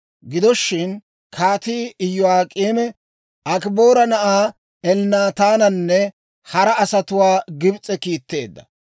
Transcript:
Gido shin, Kaatii Iyo'ak'eemi Akiboora na'aa Elnnaataananne hara asatuwaa Gibs'e kiitteedda.